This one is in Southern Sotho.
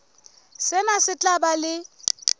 sena se tla ba le